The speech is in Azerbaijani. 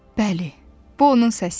Bəli, bu onun səsi idi.